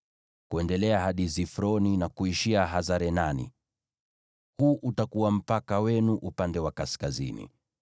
kuendelea hadi Zifroni, na kuishia Hasar-Enani. Huu utakuwa mpaka wenu upande wa kaskazini.